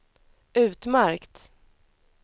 utmärkt